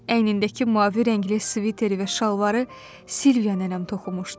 Əynindəki mavi rəngli sviteri və şalvarı Silviya nənəm toxumuşdu.